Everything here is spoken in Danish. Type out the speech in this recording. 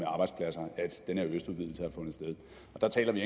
arbejdspladser at den her østudvidelse har fundet sted og der taler vi